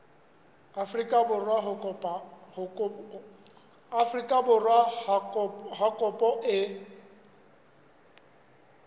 afrika borwa ha kopo e